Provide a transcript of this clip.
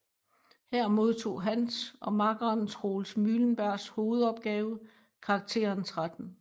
Her modtog hans og makkeren Troels Mylenbergs hovedopgave karakteren 13